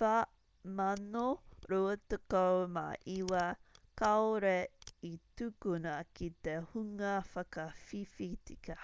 429 kāore i tukuna ki te hunga whakawhiwhi tika